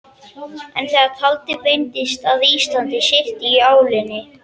En þegar talið beindist að Íslandi syrti í álinn.